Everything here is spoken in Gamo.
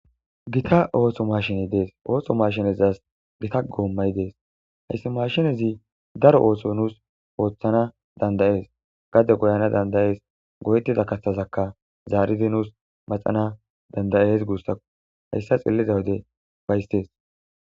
gita ooso mashiney dees ooso mashinezas gita goommay dees hayssi mashinezi daro ooso nuus ooththana dandayees gade goyana dandayees go7etida kaththazakka zaaridi nuus maxana dandayees guussa hayssa xilliza wude baystees